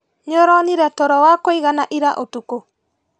Nĩũronire toro wa kũigana ira ũtukũ?